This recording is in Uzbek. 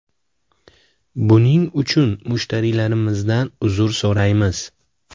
Buning uchun mushtariylarimizdan uzr so‘raymiz.